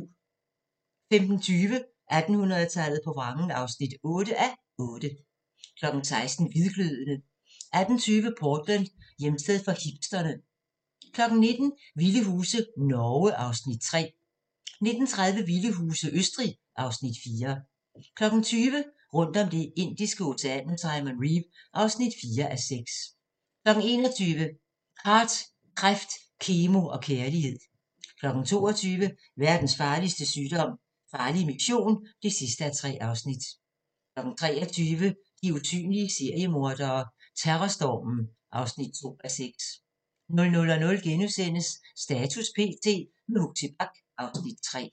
15:20: 1800-tallet på vrangen (8:8) 16:00: Hvidglødende 18:20: Portland: Hjemsted for hipsterne 19:00: Vilde huse - Norge (Afs. 3) 19:30: Vilde huse - Østrig (Afs. 4) 20:00: Rundt om Det Indiske Ocean med Simon Reeve (4:6) 21:00: Hart - kræft, kemo og kærlighed 22:00: Verdens farligste sygdom - farlig mission (3:3) 23:00: De usynlige seriemordere: Terrorstormen (2:6) 00:00: Status p.t. – med Huxi Bach (Afs. 3)*